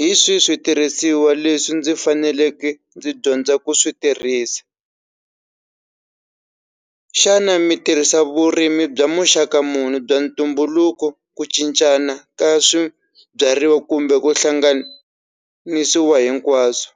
Hi swihi switirhisiwa leswi ndzi faneleke ndzi dyondza ku switirhisa xana mi tirhisa vurimi bya muxaka munhu bya ntumbuluko ku cincana ka swibyariwa kumbe ku hlanganisiwa hinkwaswo